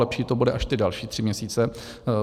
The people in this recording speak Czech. Lepší to bude až ty další tři měsíce.